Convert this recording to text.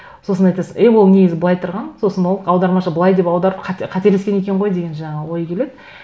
сосын айтасың е ол негізі былай тұрған сосын ол аудармашы былай деп аударып қателескен екен ғой деген жаңағы ой келеді